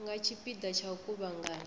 nga tshipia tsha u kuvhanganya